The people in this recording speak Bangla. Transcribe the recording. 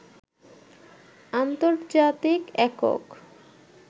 আন্তর্জাতিক একক